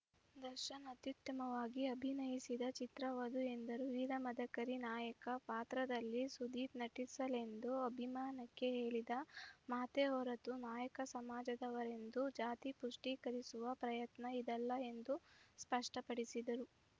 ದರ್ಶನ್‌ ಅತ್ಯುತ್ತಮವಾಗಿ ಅಭಿನಯಿಸಿದ ಚಿತ್ರವದು ಎಂದರು ವೀರ ಮದಕರಿ ನಾಯಕ ಪಾತ್ರದಲ್ಲಿ ಸುದೀಪ್‌ ನಟಿಸಲೆಂದು ಅಭಿಮಾನಕ್ಕೆ ಹೇಳಿದ ಮಾತೇ ಹೊರತು ನಾಯಕ ಸಮಾಜದವರೆಂದು ಜಾತಿ ಪುಷ್ಟೀಕರಿಸುವ ಪ್ರಯತ್ನ ಇದಲ್ಲ ಎಂದು ಸ್ಪಷ್ಟಪಡಿಸಿದರು